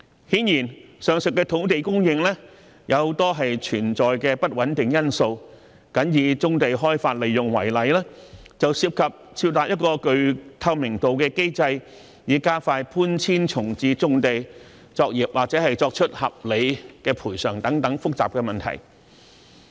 顯然，上述的土地供應也存在很多不穩定因素，僅以棕地開發利用為例，便涉及設立一個具透明度的機制，以加快搬遷重置棕地作業或作出合理賠償等複雜問題。